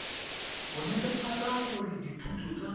go netefatsa gore dithoto tsa